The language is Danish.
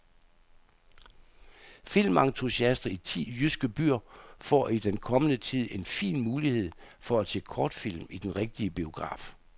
Filmentusiaster i ti jyske byer får i den kommende tid en fin mulighed for at se kortfilm i den rigtige biograf.